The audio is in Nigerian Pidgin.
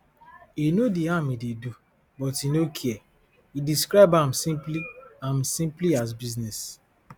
e know di harm e dey do but e no care e describe am smply am smply as business